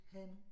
Hanne